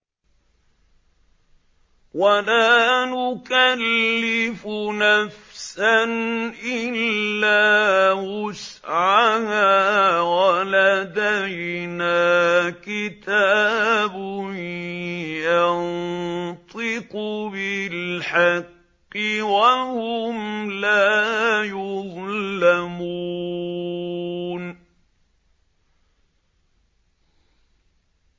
وَلَا نُكَلِّفُ نَفْسًا إِلَّا وُسْعَهَا ۖ وَلَدَيْنَا كِتَابٌ يَنطِقُ بِالْحَقِّ ۚ وَهُمْ لَا يُظْلَمُونَ